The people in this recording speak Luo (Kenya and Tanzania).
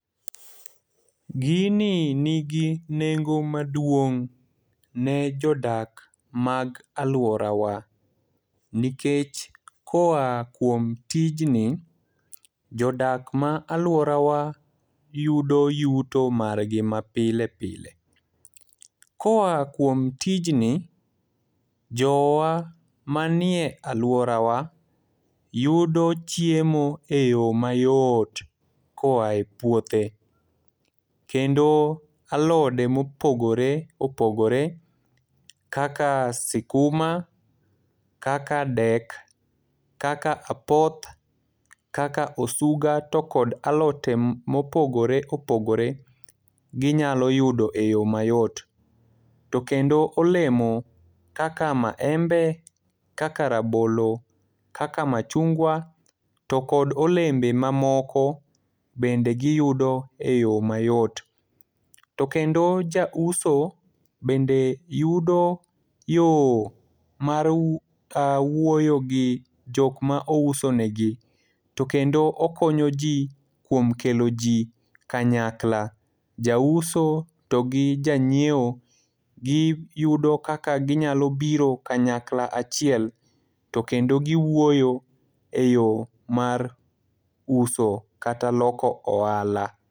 Gini nigi nengo maduong' ne jodak mag alworawa. Nikech koa kuom tijni, jodak ma alworawa yudo yuto margi ma pile pile. Koa kuom tijni, jowa manie alworawa, yudo chiemo e yo mayot koae puothe. Kendo alode mopogore opogore kaka sikuma, kaka dek, kaka apoth, kaka osuga to kod alote mopogore opogore ginyalo yudo e yo mayot. To kendo olemo kaka maembe, kaka rabolo, kaka machungwa to kod olembe mamoko bende giyudo e yo mayot. To kendo jauso bede yudo yo mar wuoyo gi jok ma ouso negi. To kendo okonyo ji kuom kelo ji kanyakla. Jauso to gi janyiewo, giyudo kaka ginyalo biro kanayakla achiel. To kendo giwuoyo e yo mar uso, kata loko ohala.